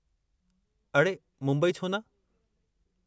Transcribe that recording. अड़े, मुंबई छो न?